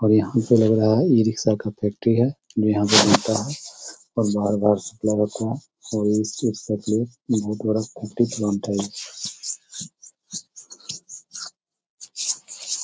और यहां से लग रहा है ई-रिक्शा का बैटरी है जो यहां पे मिलता है और बाहर बाहर से खुला रखे हैं --]